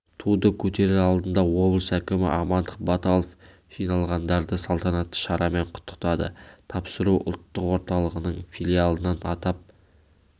туды көтерер алдында облыс әкімі амандық баталов жиналғандарды салтанатты шарамен құттықтады тапсыру ұлттық орталығының филиалынан атап